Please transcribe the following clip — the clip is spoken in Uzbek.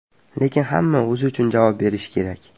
Lekin hamma o‘zi uchun javob berishi kerak.